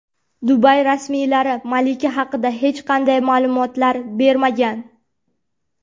Dubay rasmiylari malika haqida hech qanday ma’lumotlar bermagan.